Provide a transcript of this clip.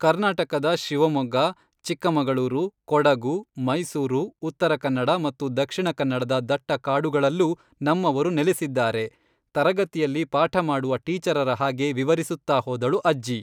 ಕರ್ನಾಟಕದ ಶಿವಮೊಗ್ಗ, ಚಿಕ್ಕಮಗಳೂರು, ಕೊಡಗು, ಮೈಸೂರು, ಉತ್ತರಕನ್ನಡ ಮತ್ತು ದಕ್ಷಿಣ ಕನ್ನಡದ ದಟ್ಟ ಕಾಡುಗಳಲ್ಲೂ ನಮ್ಮವರು ನೆಲೆಸಿದ್ದಾರೆ.” ತರಗತಿಯಲ್ಲಿ ಪಾಠ ಮಾಡುವ ಟೀಚರರ ಹಾಗೆ ವಿವರಿಸುತ್ತಾ ಹೋದಳು ಅಜ್ಜಿ.